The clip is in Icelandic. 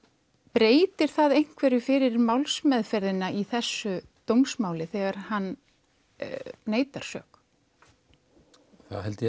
breytir það einhverju fyrir málsmeðferðina í þessu dómsmáli þegar hann neitar sök það held ég